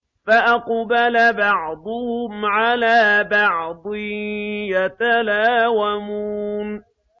فَأَقْبَلَ بَعْضُهُمْ عَلَىٰ بَعْضٍ يَتَلَاوَمُونَ